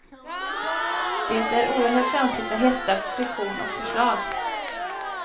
Det är oerhört känsligt för hetta, friktion och för slag.